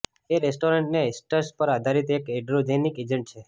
તે testosterone esters પર આધારીત એક એન્ડ્રોજેનિક એજન્ટ છે